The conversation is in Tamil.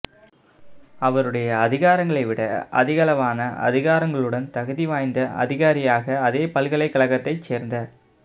அவருடைய அதிகாரங்களைவிட அதிகளவான அதிகாரங்களுடன் தகுதி வாய்ந்த அதிகாரியாக அதே பல்கலைக்கழகத்தைச் சேர்ந்த